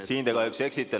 Siin te kahjuks eksite.